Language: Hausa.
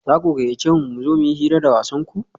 za ku gayyace mu mu zo mu yi hira da wasanku?